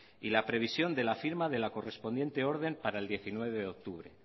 y la previsión de la firma de la correspondiente orden para el diecinueve de octubre